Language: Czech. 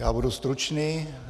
Já budu stručný.